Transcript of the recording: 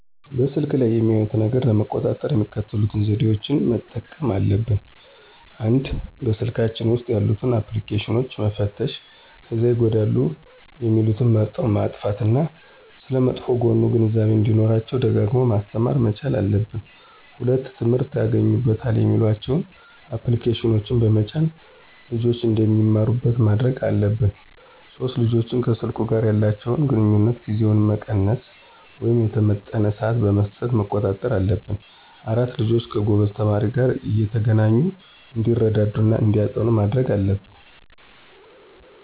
በስልኩ ላይ የሚያዩትን ነገር ለመቆጣጠር የሚከተሉትን ዘዴዎች መጠቀምና አለብን፦ ፩) በስልካቸው ውስጥ ያሉትን አፕልኬሽኖች መፈተሽ ከዚያ ይጎዳሉ የሚሉትን መርጠው ማጥፋት እና ስለመጥፎ ጎኑ ግንዛቤው እንዲኖራቸው ደጋግሞ ማስተማር መቻል አለብን። ፪) ትምህርት ያገኙበታል የሚሏቸውን አፕልኬሽኖች በመጫን ልጆች እንዲማሩባቸው ማድረግ አለብን። ፫) ልጆች ከሰልኩ ጋር ያላቸውን ግንኙነት ጊዜውን መቀነስ ወይም የተመጠነ ስዓት በመስጠት መቆጣጠር አለብን። ፬) ልጆች ከጎበዝ ተማሪዎች ጋር እየተገናኙ እንዲረዳዱ እና እንዲያጠኑ ማድረግ አለብን